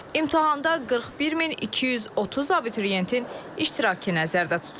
İmtahanda 41230 abituriyentin iştirakı nəzərdə tutulub.